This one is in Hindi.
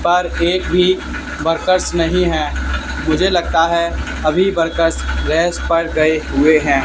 पर एक भी वर्कर्स नहीं है मुझे लगता है अभी वर्कर्स रेस्ट पर गए हुए हैं।